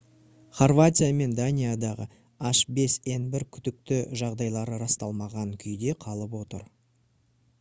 хорватия мен даниядағы h5n1 күдікті жағдайлары расталмаған күйде қалып отыр